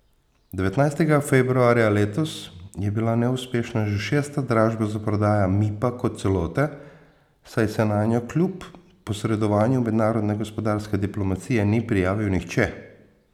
Devetnajstega februarja letos je bila neuspešna že šesta dražba za prodajo Mipa kot celote, saj se nanjo kljub posredovanju mednarodne gospodarske diplomacije ni prijavil nihče.